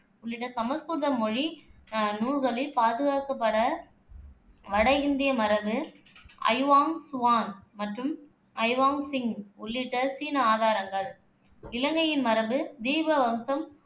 உள்ளிட்ட சமசுகிருத மொழி அஹ் நூல்களில் பாதுகாக்கப்பட வட இந்திய மரபு அயுவாங் சுவான் மற்றும் அயுவாங் சிங் உள்ளிட்ட சீன ஆதாரங்கள் இலங்கையின் மரபு தீபவம்சம்,